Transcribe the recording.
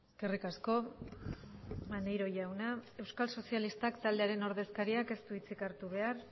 eskerrik asko maneiro jauna euskal sozialistak taldearen ordezkariak ez du hitzik hartu behar